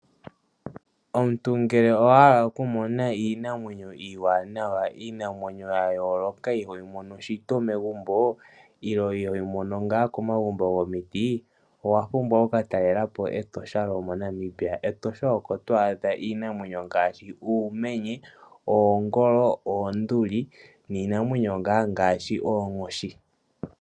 Omuntu ngele owahala okumona iinamwenyo iiwanawa, iinamwenyo yayooloka iho yi mono shito megumbo nenge iho yi mono komagumbo gomiti owapumbwa okukatalelapo Etosha lyo moNamibia. Etosha oko to adha iinamwenyo ngaashi uumenye, oongolo, oonduli noonkoshi.